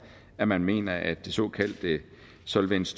at man mener at den såkaldte solvens